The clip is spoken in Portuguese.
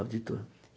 Auditor.